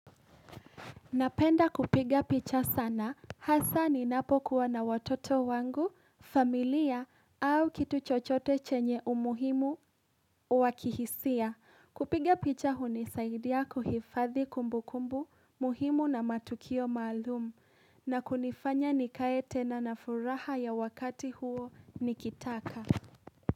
Napenda kupiga picha sana hasa ni napokuwa na watoto wangu, familia au kitu chochote chenye umuhimu wakihisia. Kupiga picha huni saidia kuhifadhi kumbu kumbu muhimu na matukio maalum na kunifanya nikaete na nafuraha ya wakati huo nikitaka.